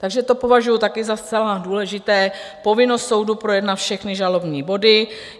Takže to považuji taky za zcela důležité, povinnost soudu projednat všechny žalobní body.